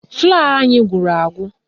Flọ́ọ̀ anyị gwụrụ agwụ